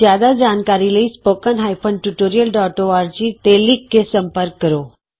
ਜਿਆਦਾ ਜਾਣਕਾਰੀ ਲਈ spoken hyphen tutorial dot O R G spoken tutorialਓਰਗ ਤੇ ਲਿਖ ਕੇ ਸੰਪਰਕ ਕਰੋ